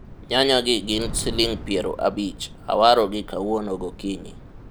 nyanya gi gin siling' piero abich, awarogi kawuono gokinyi